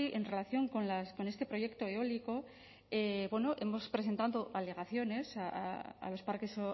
en relación con este proyecto eólico hemos presentado alegaciones a los parques